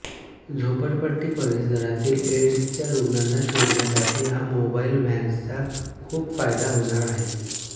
झोपडपट्टी परिसरातील एड्सच्या रुग्णांना शोधण्यासाठी या मोबाईल व्हॅनचा खूप फायदा होणार आहे